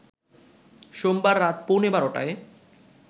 সোমবার রাত পৌনে ১২টায়